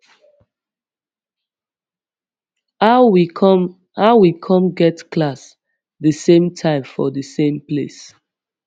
how we come how we come get class the same time for the same place